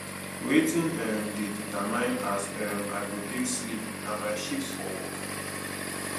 wetin um dey determine as um i go take sleep na my shift for work